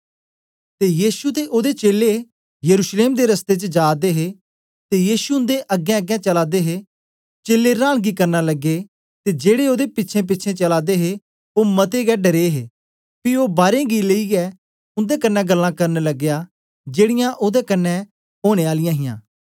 ते यीशु ते ओदे चेलें यरूशलेम दे रस्ते च जा दे हे ते यीशु उन्दे अगेंअगें चला दे हे चेलें रांनगी करना लगे ते जेड़े ओदे पिछेंपिछें चला दे हे ओ मते गै डरे हे पी ओ बारें गी लेईयै उन्दे कन्ने गल्लां करन लग्या जेड़ीयां ओदे कन्ने ओनें आलियां हां